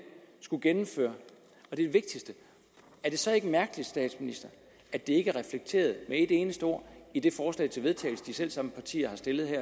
skal gennemføre er det så ikke mærkeligt at det ikke er reflekteret med et eneste ord i det forslag til vedtagelse som de selv samme partier